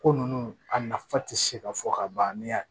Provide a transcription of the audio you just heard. Ko ninnu a nafa tɛ se ka fɔ ka ban ni y'a